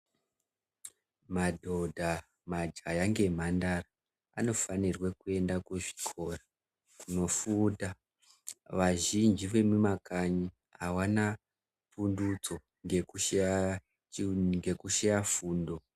Madhodha, majaya ngemhandara, anofanirwa kuenda kuzvikora kunofunda, wazhinji wemumakanyi awana bundutso ngekushaya choni, ngekushaya fundo.